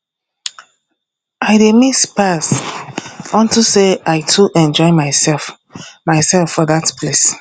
i dey miss pars unto say i too enjoy myself myself for dat place